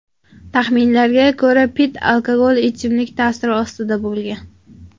Taxminlarga ko‘ra, Pitt alkogol ichimlik ta’siri ostida bo‘lgan.